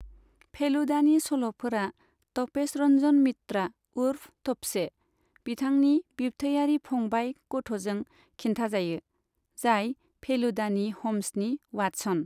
फेलुदानि सल'फोरा तपेश रन्जन मित्रा उर्फ तप्से, बिथांनि बिब्थैयारि फंबाय गथ'जों खिन्थाजायो, जाय फेलुदानि हम्सनि वाटसन।